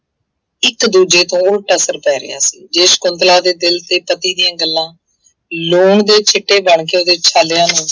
ਇੱਕ ਦੂਜੇ ਤੋਂ ਉਲਟ ਅਸਰ ਪੈ ਰਿਹਾ ਸੀ ਜੇ ਸਕੁੰਤਲਾ ਦੇ ਦਿਲ ਤੇ ਪਤੀ ਦੀਆਂ ਗੱਲਾਂ ਲੂਣ ਦੇ ਸਿੱਟੇ ਬਣਕੇ ਉਹਦੇ ਛਾਲਿਆਂ ਨੂੰ